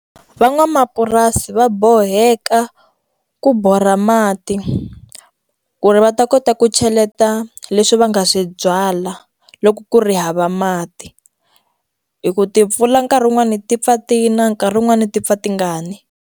Van'wamapurasi va boheka ku borha mati ku ri va ta kota ku cheleta leswi va nga swi byala loko ku ri hava mati hi ku timpfula nkarhi wun'wani ti pfa ti na nkarhi wun'wani ti pfa ti nga ni.